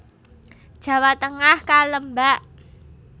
Jawa Tengah Kalembak